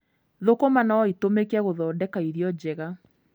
Thũkũma no itũmĩke gũthondeka irio njega.